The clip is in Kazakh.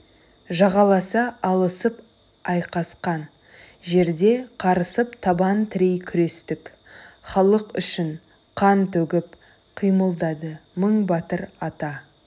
жағаласа алысып айқаскан жерде қарысып табан тірей күрестік халық үшін қан төгіп қимылдады мың батыр ата